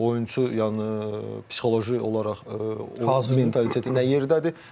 Oyunçu yəni psixoloji olaraq mentaliteti nə yerdədir?